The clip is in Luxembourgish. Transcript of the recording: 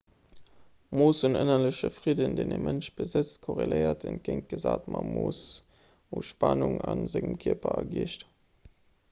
d'mooss un ënnerlechem fridden deen e mënsch besëtzt korreléiert entgéintgesat mam mooss u spannung a sengem kierper a geescht